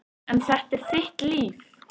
En þetta er þitt líf.